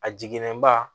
A jiginnen ba